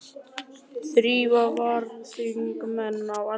Þrír varaþingmenn á Alþingi